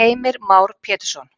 Heimir Már Pétursson: